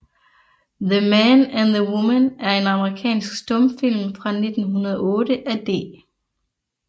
The Man and the Woman er en amerikansk stumfilm fra 1908 af D